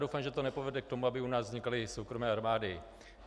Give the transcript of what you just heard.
Doufám, že to nepovede k tomu, aby u nás vznikaly soukromé armády.